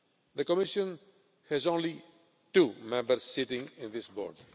The Commission has only two members sitting on that board.